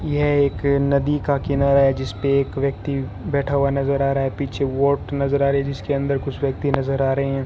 यह एक नदी का किनारा है जिसपे एक व्यक्ति बैठा हुआ नजर आ रहा है पीछे बोट नजर आ रहा है जिसके अंदर कुछ व्यक्ति नजर आ रहे हैं।